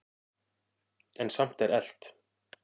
En samt er elt.